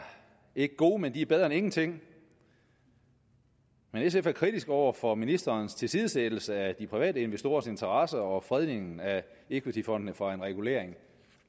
ikke gode men de er bedre end ingenting men sf er kritisk over for ministerens tilsidesættelse af de private investorers interesser og fredningen af equityfondene fra en regulering